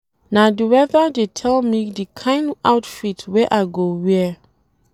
Na di weather dey tell me di kain outfit wey I go wear.